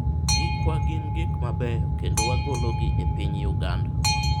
gikwa gin gik mabeyo kendo wagolo gi e piny uganda